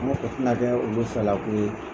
tɛ na kɛ olu fɛla ko ye